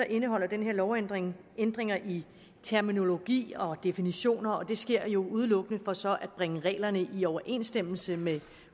indeholder den her lovændring ændringer i terminologi og definitioner og det sker jo udelukkende for så at bringe reglerne i overensstemmelse med